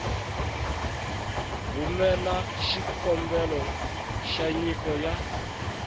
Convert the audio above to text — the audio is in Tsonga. rhumela xikombelo xa nyiko ya